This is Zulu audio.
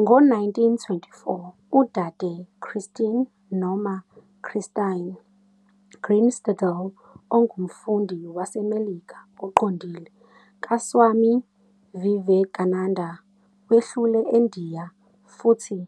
Ngo-1924 uDade Christine noma uChristine Greenstidel ongumfundi waseMelika oqondile kaSwami Vivekananda wehlele eNdiya futhi